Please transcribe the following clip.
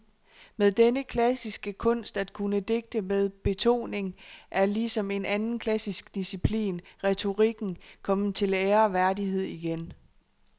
Men denne klassiske kunst at kunne digte med betoning er ligesom en anden klassisk disciplin, retorikken, kommet til ære og værdighed igen.